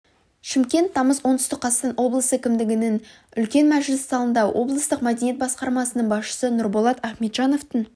шымкент тамыз оңтүстік қазақстан облысы кімдігінің үлкен мәжіліс залында облыстық мәдениет басқармасының басшысы нұрболат ахметжановтың